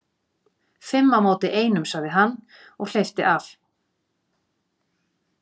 Fimm á móti einum, sagði hann og hleypti af.